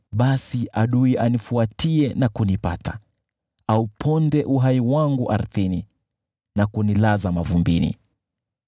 basi adui anifuatie na kunipata, auponde uhai wangu ardhini na kunilaza mavumbini.